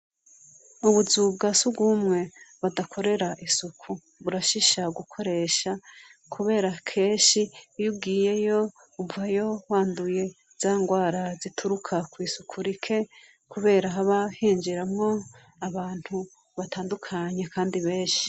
Ubuzu bwa surwumwe badakorera isuku burashisha gukoresha kubera kenshi iyo ugiyeyo uvayo wanduye za ngwara zituruka kw'isuku rike kubera haba hinjiramwo abantu batandukanye kandi benshi?